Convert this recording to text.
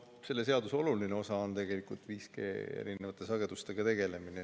No selle seaduse oluline osa ongi tegelikult 5G erinevate sagedustega tegelemine.